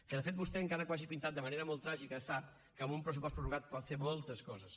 que de fet vostè encara que ho hagi pintat de manera molt tràgica sap que amb un pressupost prorrogat pot fer moltes coses